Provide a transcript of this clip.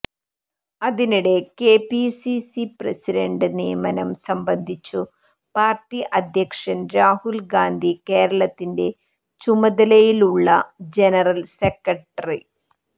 അതിനിടെ KPCC president നിയമനം സംബന്ധിച്ചു പാർട്ടി അധ്യക്ഷൻ രാഹുൽ ഗാന്ധി കേരളത്തിന്റെ ചുമതലയുള്ള ജനറൽ സെക്രട്ടറ